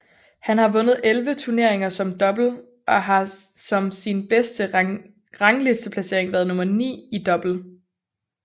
Han har vundet 11 turneringer i double og har som sin bedste ranglisteplacering været nummer 9 i double